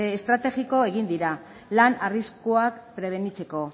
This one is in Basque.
estrategiko egin dira lan arriskuak prebenitzeko